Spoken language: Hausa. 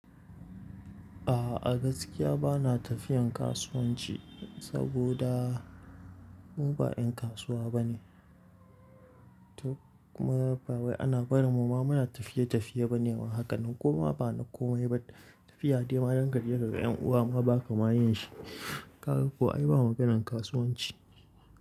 A'a gaskiya ba na tafiyan kasuwanci saboda mu ba 'yan kasuwa ba ne. To kuma ba wai ana barin mu ma muna tafiye-tafiye ba ne ba hakanan koma ba na komai ba. Tafiya dai ma da kaje kaga 'yan uwa ma baka ma yin shi. Kaga ko ai ba maganan kasuwanci.